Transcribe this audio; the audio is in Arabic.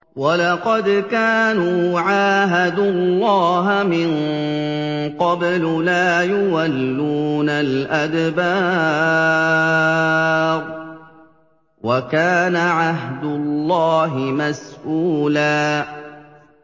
وَلَقَدْ كَانُوا عَاهَدُوا اللَّهَ مِن قَبْلُ لَا يُوَلُّونَ الْأَدْبَارَ ۚ وَكَانَ عَهْدُ اللَّهِ مَسْئُولًا